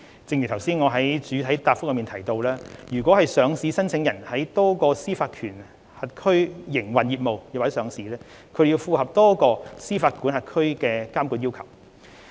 正如我剛才在主體答覆中提到，若上市申請人在多個司法管轄區營運業務或上市，便須符合多個司法管轄區的監管要求。